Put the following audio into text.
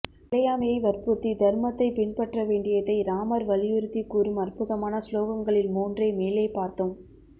நிலையாமையை வற்புறுத்தி தர்மத்தைப் பின்பற்ற வேண்டியதை ராமர் வலியுறுத்திக் கூறும் அற்புதமான ஸ்லோகங்களில் மூன்றை மேலே பார்த்தோம்